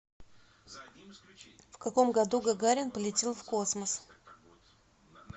в каком году гагарин полетел в космос